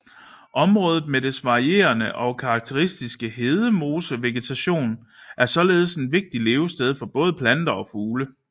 Området med dets varierede og karakteristiske hedemosevegetation er således et vigtigt levested for både planter og fugle